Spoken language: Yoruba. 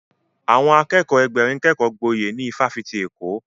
Àwọn Akẹ́kọ̀ọ́ Ẹgbẹ̀rin kékọ gboyè ní ifásitì Èkó